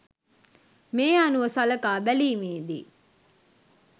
මේ අනුව සලකා බැලීමේ දී